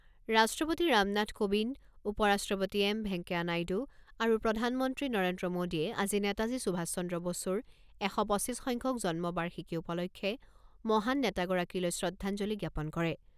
ৰাষ্ট্ৰপতি ৰামনাথ কোবিন্দ, উপ ৰাষ্ট্ৰপতি এম ভেংকায়া নাইডু আৰু প্ৰধানমন্ত্ৰী নৰেন্দ্ৰ মোদীয়ে আজি নেতাজী সুভাষ চন্দ্ৰ বসুৰ এশ পঁচিছসংখ্যক জন্ম বাৰ্ষিকী উপলক্ষে মহান নেতাগৰাকীলৈ শ্ৰদ্ধাঞ্জলি জ্ঞাপন কৰে।